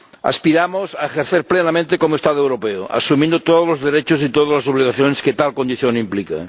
Aspiramos a ejercer plenamente como Estado europeo, asumiendo todos los derechos y todas las obligaciones que tal condición implica.